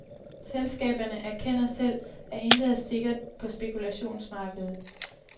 Selskaberne erkender selv, at intet er sikkert på spekulationsmarkedet.